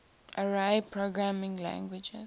array programming languages